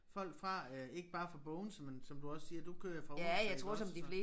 Folk fra øh ikke bare fra Bogense men som du også siger du kører jo fra Odense iggås så